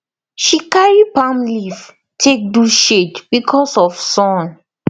she carry palm leaf take do shade because of sun